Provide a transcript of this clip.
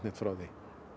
frá því